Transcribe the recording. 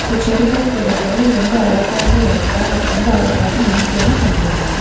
இந்த செடிகள் கொடிகள் ரொம்ப அழகாக இருக்க அது ரொம்ப அழகாக மெயின்டேனும் பண்ணிருக்காங்க.